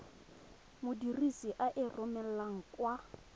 modirisi a e romelang kwa